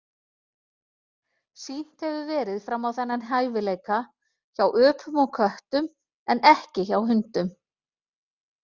Sýnt hefur verið fram á þennan hæfileika hjá öpum og köttum en ekki hjá hundum.